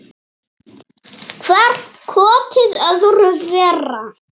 Hvert kotið öðru verra.